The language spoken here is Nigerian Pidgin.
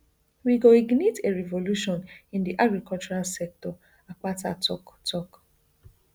we go ignite a revolution in di agricultural sector akpata tok tok